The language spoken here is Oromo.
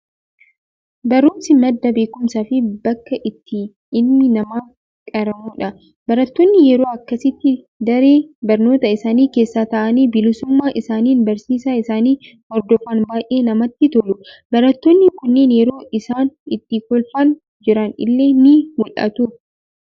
Barumsi madda beekumsaa fi bakka itti ilmi namaa qaramudha. Barattoonni yeroo akkasitti daree barnootaa isaanii keessa taa'anii bilisummaa isaaniin barsiisaa isaanii hordofan baayyee namatti tolu. Barattoonni kunneen yeroo isaan itti kolfaa jiran illee ni mul'atu.